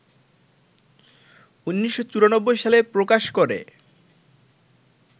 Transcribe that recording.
১৯৯৪ সালে প্রকাশ করে